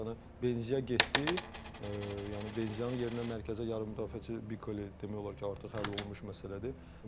Yəni Benzya getdi, yəni Benzyanın yerinə mərkəzə yarımmüdafiəçi Bikoli demək olar ki, artıq həll olunmuş məsələdir.